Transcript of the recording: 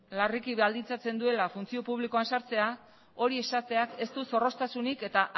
larriki baldintzen duela funtzio publikoan sartzea hori esateak ez du zorroztasunik eta